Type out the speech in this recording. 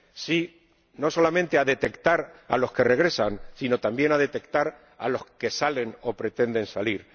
sí no solamente a detectar a los que regresan, sino también a detectar a los que salen o pretenden salir.